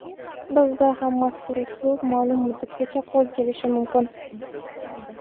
Bizda ham mazkur uslub ma’lum muddatgacha qo‘l kelishi mumkin.